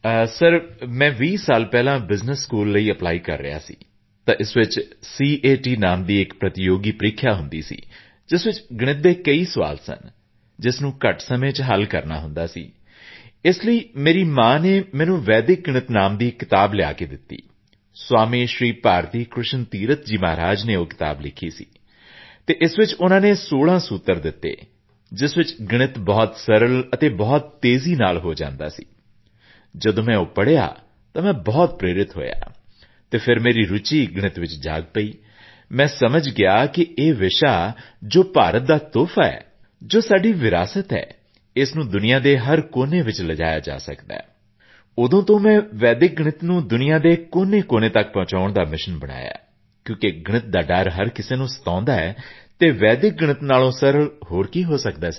sir ਜਦੋਂ ਮੈਂ 20 ਸਾਲ ਪਹਿਲਾਂ ਬਿਜ਼ਨਸ ਸਕੂਲ ਲਈ ਅਪਲਾਈ ਕਰ ਰਿਹਾ ਸੀ ਤਾਂ ਇਸ ਵਿੱਚ ਸੀਏਟੀ ਨਾਮ ਦੀ ਪ੍ਰਤੀਯੋਗੀ ਪਰੀਖਿਆ ਹੁੰਦੀ ਸੀ ਇਸ ਵਿੱਚ ਗਣਿਤ ਦੇ ਕਈ ਸਵਾਲ ਸਨ ਜਿਸ ਨੂੰ ਘੱਟ ਸਮੇਂ ਵਿੱਚ ਹੱਲ ਕਰਨਾ ਪੈਂਦਾ ਸੀ ਇਸ ਲਈ ਮੇਰੀ ਮਾਂ ਨੇ ਮੈਨੂੰ ਵੈਦਿਕ ਗਣਿਤ ਨਾਮ ਦੀ ਕਿਤਾਬ ਲਿਆ ਕੇ ਦਿੱਤੀ ਸਵਾਮੀ ਸ਼੍ਰੀ ਭਾਰਤੀਕ੍ਰਿਸ਼ਨ ਤੀਰਥ ਜੀ ਮਹਾਰਾਜ ਨੇ ਉਹ ਕਿਤਾਬ ਲਿਖੀ ਸੀ ਅਤੇ ਇਸ ਵਿੱਚ ਉਸ ਨੇ 16 ਸੂਤਰ ਦਿੱਤੇ ਜਿਸ ਵਿੱਚ ਗਣਿਤ ਬਹੁਤ ਸਰਲ ਅਤੇ ਬਹੁਤ ਤੇਜ਼ੀ ਨਾਲ ਹੋ ਜਾਂਦਾ ਸੀ ਜਦੋਂ ਮੈਂ ਉਹ ਪੜ੍ਹਿਆ ਤਾਂ ਮੈਂ ਬਹੁਤ ਪ੍ਰੇਰਿਤ ਹੋਇਆ ਅਤੇ ਫਿਰ ਮੇਰੀ ਰੁਚੀ ਗਣਿਤ ਵਿੱਚ ਜਾਗ ਗਈ ਮੈਂ ਸਮਝ ਗਿਆ ਕਿ ਇਹ ਵਿਸ਼ਾ ਜੋ ਭਾਰਤ ਦਾ ਤੋਹਫ਼ਾ ਹੈ ਜੋ ਸਾਡੀ ਵਿਰਾਸਤ ਹੈ ਇਸ ਨੂੰ ਦੁਨੀਆ ਦੇ ਹਰ ਕੋਨੇ ਵਿੱਚ ਲਿਜਾਇਆ ਜਾ ਸਕਦਾ ਹੈ ਉਦੋਂ ਤੋਂ ਮੈਂ ਵੈਦਿਕ ਗਣਿਤ ਨੂੰ ਦੁਨੀਆ ਦੇ ਹਰ ਕੋਨੇ ਤੱਕ ਪਹੁੰਚਾਉਣ ਦਾ ਮਿਸ਼ਨ ਬਣਾਇਆ ਹੈ ਕਿਉਂਕਿ ਗਣਿਤ ਦਾ ਡਰ ਹਰ ਕਿਸੇ ਨੂੰ ਸਤਾਉਂਦਾ ਹੈ ਅਤੇ ਵੈਦਿਕ ਗਣਿਤ ਨਾਲੋਂ ਸਰਲ ਹੋਰ ਕੀ ਹੋ ਸਕਦਾ ਹੈ